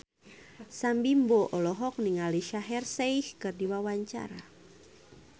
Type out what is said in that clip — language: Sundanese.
Sam Bimbo olohok ningali Shaheer Sheikh keur diwawancara